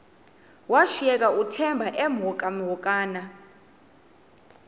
washiyeka uthemba emhokamhokana